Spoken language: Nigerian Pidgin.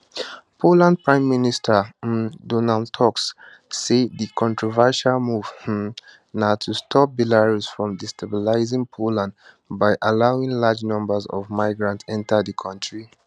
poland prime minister um donald tusk say di controversial move um na to stop belarus from destabilising poland by allowing large numbers of migrants enta di kontri